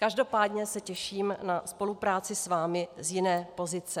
Každopádně se těším na spolupráci s vámi z jiné pozice.